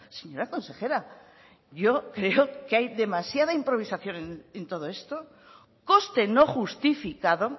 señora consejera yo creo que hay demasiada improvisación en todo esto coste no justificado